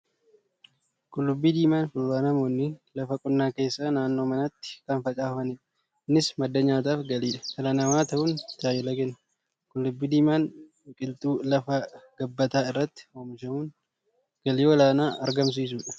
Qullubbii diimaan fuduraa namoonni lafa qonnaa keessa, naannoo manaatti kan facaafatanidha. Innis madda nyaataa fi galii dhala namaa ta'uun tajaajila kenna. Qullubbii diimaan biqiltuu lafa gabbataa irratti oomishamuun galii olaanaa argamsiisudha.